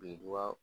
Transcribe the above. Birintuba